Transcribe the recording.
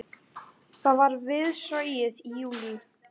Það var við Sogið í júlí.